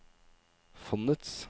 fondets